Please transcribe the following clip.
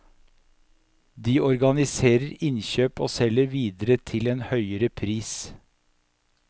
De organiserer innkjøp og selger videre til en høyere pris.